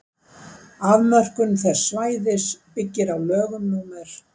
afmörkun þess svæðis byggir á lögum númer